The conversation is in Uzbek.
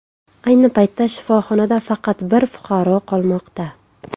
Ayni paytda shifohonada faqat bir fuqaro qolmoqda.